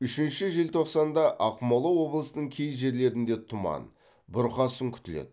үшінші желтоқсанда ақмола облысының кей жерлерінде тұман бұрқасын күтіледі